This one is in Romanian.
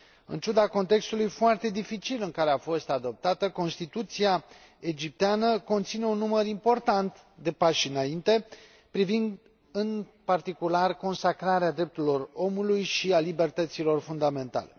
În ciuda contextului foarte dificil în care a fost adoptată, Constituția egipteană conține un număr important de pași înainte privind, în particular, consacrarea drepturilor omului și a libertăților fundamentale.